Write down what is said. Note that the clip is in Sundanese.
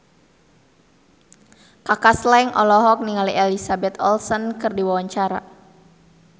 Kaka Slank olohok ningali Elizabeth Olsen keur diwawancara